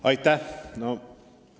Aitäh!